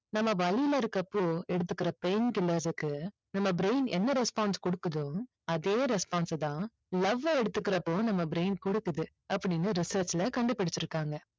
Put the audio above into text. நம்ம வலியில இருக்குறப்போ எடுத்துக்குற pain killer க்கு நம்ம brain என்ன response கொடுக்குதோ அதே response அ தான் லவ்வ எடுத்துக்குறப்போ நம்ம brain கொடுக்குது அப்படின்னு research ல கண்டுபுடிச்சுருக்காங்க.